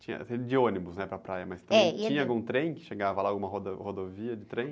Tinha, você ia de ônibus, né? Para a praia..., ia de ônibus.as também tinha algum trem que chegava lá, alguma rodo, rodovia de trem?